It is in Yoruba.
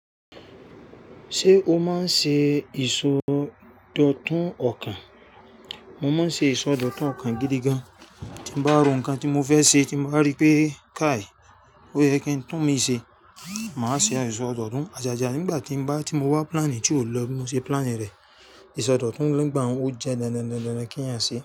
Ṣé o máa ń ṣe ìsọdọ̀tun ọkàn? Mo máa ń ṣe ìsọdọ̀tun ọkàn gidi gan. Tí mo bá ro nǹkan tí mo fẹ́ ṣe, tí mo bá rí pé káàì, ó yẹ kí n tún imii ṣe, màá ṣe àìsòdòtun. Àjàjà nígbà tí n ba ti mo wá plan tí ó lọ, bi mo ṣe plan rẹ. Isọdọ̀tun nígbà un ó jẹ́ dandan kí eeyan ṣe.